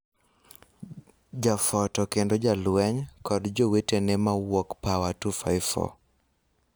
Jafoto kendo jalweny, kod jowetene ma wuok Pawa254